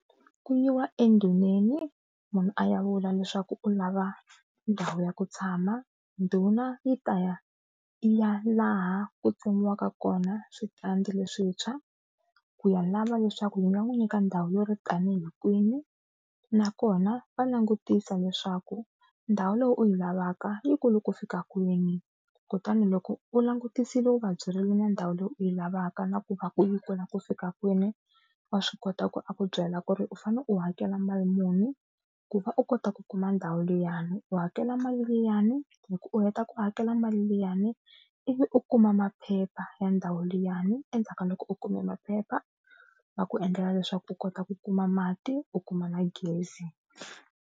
Ku yiwa endhuneni munhu a ya vula leswaku u lava ndhawu ya ku tshama, ndhuna yi ta ya ya laha ku pfuniwaka kona switandi leswintshwa ku ya lava leswaku yi nga n'wi nyika ndhawu yo ri tani hi kwini, nakona va langutisa leswaku ndhawu leyi u yi lavaka yikulu ku fika kwini. Kutani loko u langutisile u vabyerile na ndhawu leyi u yi lavaka na ku va ku yikulu ku fika kwini wa swi kota ku a ku byela ku ri u fanele u hakela mali muni ku va u kota ku kuma ndhawu liyani. U hakela mali liyani loko u heta ku hakela mali liyani ivi u kuma maphepha ya ndhawu liyani endzhaku ka loko u kume maphepha va ku endlela leswaku u kota ku kuma mati u kuma na gezi.